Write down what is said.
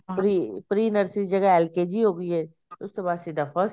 pre pre nursery ਦੀ ਜਗ੍ਹਾ LKG ਹੋ ਗਈ ਆਈ ਉਸ ਤੋਂ ਬਾਅਦ ਸਿੱਧਾ first